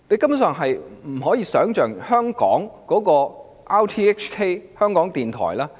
我以最多議員提及的香港電台為例。